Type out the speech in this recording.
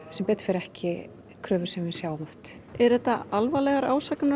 sem betur fer ekki kröfur sem við sjáum oft eru þetta alvarlegar ásakanir